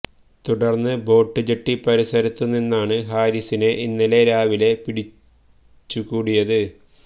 തുടര്ന്ന് boat jetty പരിസരത്തു നിന്നാണ് ഹാരിസിനെ ഇന്നലെ രാവിലെ പിടിച്ചകൂടിയത്